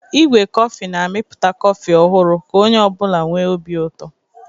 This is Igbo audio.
Igwe kọfị na-amịpụta kọfị ọhụrụ ka onye ọ bụla nwee obi ụtọ.